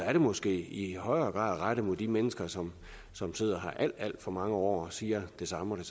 er det måske i højere grad rettet mod de mennesker som som sidder her alt alt for mange år og siger det samme og